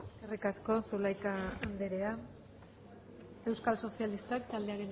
eskerrik asko zulaika anderea euskal sozialistak taldearen